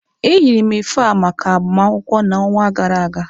eyiri m efe a maka agbamakwụkwọ na onwa gara aga.